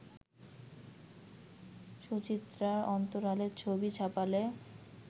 সুচিত্রার অন্তরালের ছবি ছাপালে